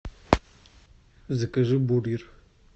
закажи бургер